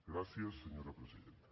gràcies senyora presidenta